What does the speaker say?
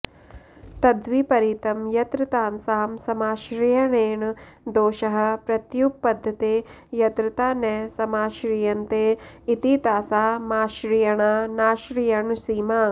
तद्विपरितं यत्रतासां समाश्रयणेन दोषः प्रत्युपपद्यते यत्रता न समाश्रीयन्ते इति तासामाश्रयणानाश्रयणसीमा